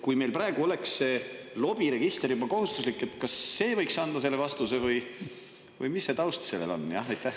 Kui meil praegu oleks see lobiregister juba kohustuslik, kas see võiks anda selle vastuse või mis see taust on?